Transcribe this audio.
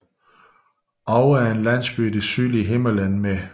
Oue er en landsby i det sydlige Himmerland med